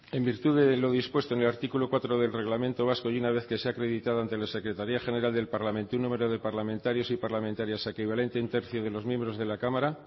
en virtud de lo dispuesto en el artículo cuatro del reglamento del parlamento vasco y una vez que se ha acreditado ante la secretaría general del parlamento un número de parlamentarias y parlamentarios equivalente a un tercio de los miembros de la cámara